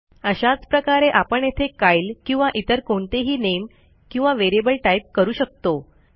अशाच प्रकारे आपण येथे कायल किंवा इतर कोणतेही नामे किंवा व्हेरिएबल टाईप करू शकतो